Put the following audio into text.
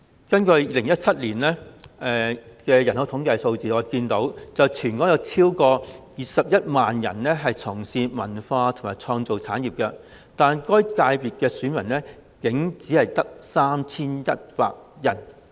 根據2017年的人口統計數字，全香港共有超過21萬人從事文化及創意產業，但屬於該界別的選民竟然只有約 3,100 人。